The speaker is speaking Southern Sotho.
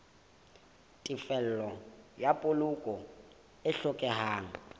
tefello ya kopo e hlokehang